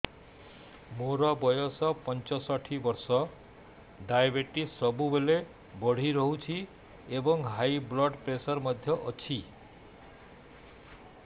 ମୋର ବୟସ ପଞ୍ଚଷଠି ବର୍ଷ ଡାଏବେଟିସ ସବୁବେଳେ ବଢି ରହୁଛି ଏବଂ ହାଇ ବ୍ଲଡ଼ ପ୍ରେସର ମଧ୍ୟ ଅଛି